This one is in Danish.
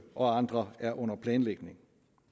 og andre er under planlægning